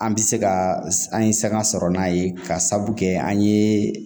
An bɛ se ka an ye sanga sɔrɔ n'a ye ka sabu kɛ an ye